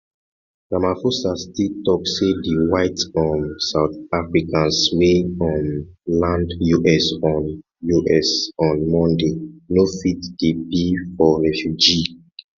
ramaphosa still tok say di white um south africans wey um land us on us on monday no fit di bill for refugee